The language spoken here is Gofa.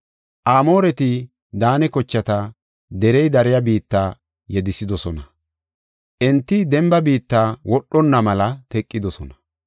Amooreti Daane kochata derey dariya biitta yedethidosona; enti demba biitta wodhonna mela teqidosona.